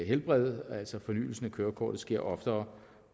helbred altså at fornyelsen af kørekort skal ske oftere